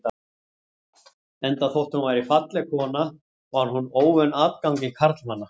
Enda þótt hún væri falleg kona var hún óvön atgangi karlmanna.